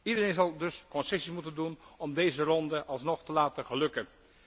Iedereen zal dus concessies moeten doen om deze ronde alsnog te laten lukken.